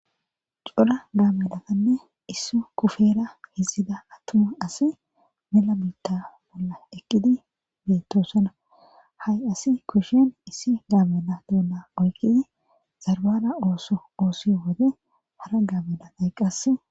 cora gaamedaanne issu kufera hizzida attuma asi mela biitta bolla eqqidi beettoosana ha7i asi kushin issi gaamena doonna oyqidi zarbara ooso oosi wode hara gaamedanayqqas